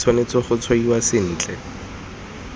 e tshwanetse go tshwaiwa sentle